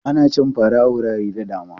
Ana cin fara a wurare da dama.